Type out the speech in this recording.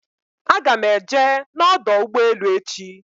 Aga m eje n'ọdọ ụgbọelu echi.